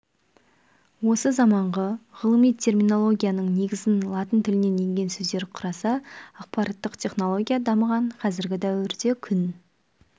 осы заманғы ғылыми терминологияның негізін латын тілінен енген сөздер құраса ақпараттық технология дамыған қазіргі дәуірде күн